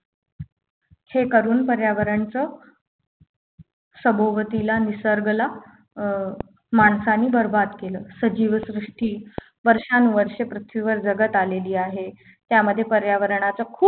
हे करून पर्यावरणचं सभोवतीला निसर्गला अं माणसाने बरबाद केलं सजीव सृष्टी वर्षानुवर्षे पृथ्वीवर जगात आलेली आहे त्यामध्ये पर्यावरणाचा खूप